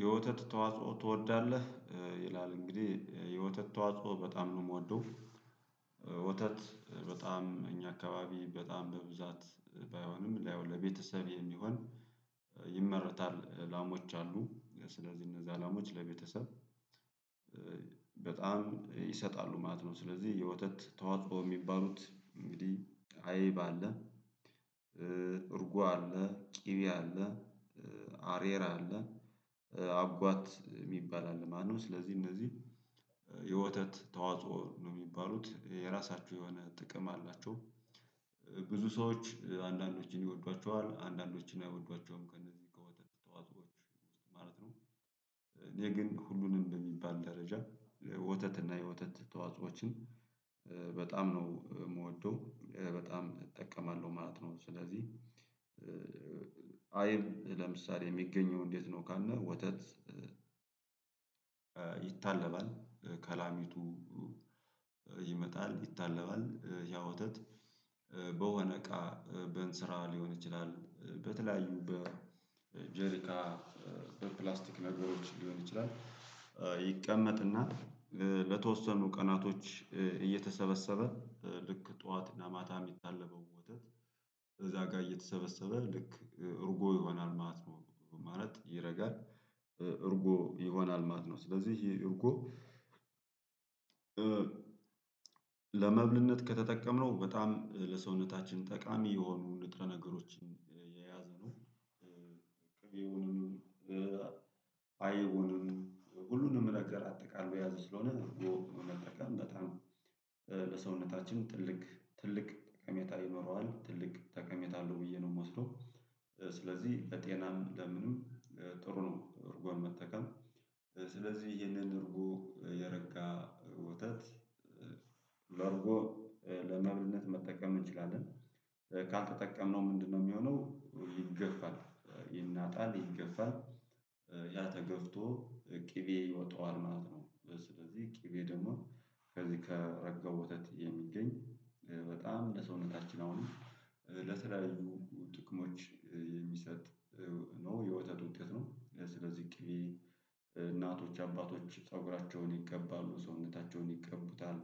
የወተት ተዋጽኦ ትወዳለህ ይላል? እንግዲህ የወተት ተዋጽኦ በጣም ነው የምወደው። ወተት በጣም እኛ አካባቢ በጣም በብዛት ባይሆንም ያው ለቤተሰብ የሚሆን ይመረታል ላሞች አሉ ስለዚህ እነዛ ላሞች ለቤተሰብ በጣም ይሰጣሉ ማለት ነው። ስለዚህ የወተት ተዋጽበው የሚባሉት እንግዲህ አይብ አለ እርጓ አለ ቂቤያ አለ አሬራ አለ አጓት የሚባል አለ ማለት ነው። ስለዚህ እነዚህ የወተት ተዋጽኦ ነው የሚባሉት የራሳችሁ የሆነ ጥቅም አላቸው። ብዙ ሰዎች አንዳንዶችን ይወዷቸዋል አንዳንዶችን አይወዷቸውም ከእነዚህ ከወጣት ጠዋት ውስጥ ማለት ነው። እኔ ግን ሁሉንም በሚባል ደረጃ ወተት እና የወተት ተዋጾዎችን በጣም ነው የምወደው በጣም እጠቀማለሁ ማለት ነው። ስለዚህ አይብ ለምሳሌ የሚገኘው እንዴት ነው? ካልነ ወተት ይታለባል ከላሚቱ ይመጣል ይታለባል ያ ወተት በሆነ አሰቃ በንስራ ሊሆን ይችላል በተለያዩ በጀሪካ በፕላስቲክ ነገሮች ሊሆን ይችላል። ይቀመጥ እና ለተወሰኑ ቀናቶች እየተሰበሰበ ልክ ጠዋት እና ማታ የሚታለበው ወተት እዛ ጋር እየተሰበሰበ ልክ እርጎ ይሆናል። ማት ማለት ይረጋል። እርጎ ይሆናል ማት ነው ስለዚህ ይሄ እርጎ ለመብልነት ከተጠቀምነው በጣም ለሰውነታችን ጠቃሚ የሆኑ ንጥረ ነገሮችን የያዘ ነው። ቅቤውንም ባይቡንም ሁሉንም ነገር አጠቃሎ የያዘ ስለሆነ በወቅቱ መጠቀም በጣም ለሰውነታችን ትልቅ ትልቅ ከጠሜታ ይኖረዋል ትልቅ ጠቀሜታ አለው ብዬ ነው የምወስደው። ስለዚህ ለጤናም ለምንም ጥሩ ነው። እርጎን መጠቀም ስለዚህ ይህንን እርጎ የረጋ ወተት በርጎ ለመብልነት መጠቀም እንችላለን። ካልተጠቀምነው ምንድነው የሚሆነው? ይገፋል ይናጣል ይገፋል ያተገፍቶ ቅቤ ይወጣዋል ማለት ነው። ስለዚህ ቅቤ ደግሞ ከዚህ ከረጋው ወተት የሚገኝ በጣም ለሰውነታችን አሁንም ለተለያዩ ጥቅሞች የሚሰጥ ነው። የወተት ውጤት ነው ለስለዚህ ቂቤ እናቶች አባቶች ፀጉራቸውን ይቀባሉ ሰውነታቸውን ይቀቡታል